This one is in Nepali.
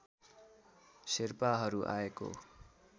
शेर्पाहरू आएको